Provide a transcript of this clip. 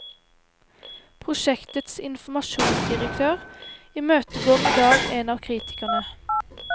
Prosjektets informasjonsdirektør imøtegår idag en av kritikerne.